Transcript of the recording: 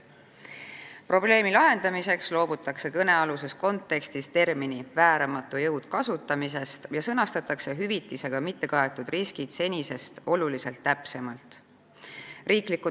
Probleemi lahendamiseks loobutakse kõnealuses kontekstis termini "vääramatu jõud" kasutamisest ja sõnastatakse hüvitisega mittekaetud riskid senisest oluliselt täpsemalt.